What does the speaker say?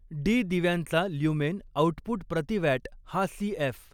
डीदिव्यांचा lumen output प्रति watt हा CF.